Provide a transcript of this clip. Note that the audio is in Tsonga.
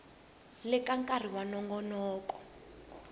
leha ka nkarhi wa nongonoko